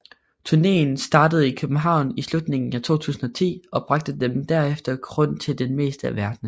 Turnéen startede i København i slutningen af 2010 og bragte dem derefter rundt til det meste af verden